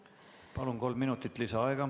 Palun, kolm minutit lisaaega!